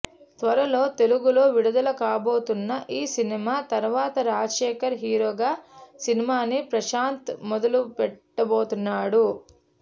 త్వరలో తెలుగులో విడుదల కాబోతున్న ఈ సినిమా తర్వాత రాజశేఖర్ హీరోగా సినిమాని ప్రశాంత్ మొదలుపెట్టబోతున్నాడు